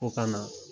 O ka na